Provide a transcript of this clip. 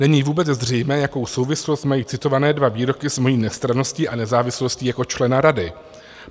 Není vůbec zřejmé, jakou souvislost mají citované dva výroky s mojí nestranností a nezávislostí jako člena rady.